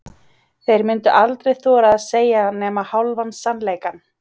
Þeir myndu aldrei þora að segja nema hálfan sannleikann.